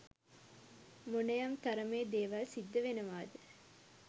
මොනයම් තරමේ දේවල් සිද්ධ වෙනවාද?